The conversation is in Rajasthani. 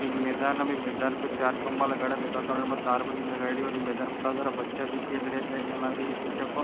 एक मैदान है मैदान के चार खम्भा लगायेडा है जेका कारन तार बंदी लगायेडी है और मैदान में बच्चा भी खेल रेहा से और यु लाग रिया के --